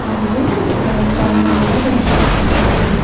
మరియు ఒక ఫ్యాన్ కూడా కనిపిస్తుంది.